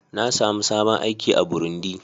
Na sami sabon aiki a Burundi.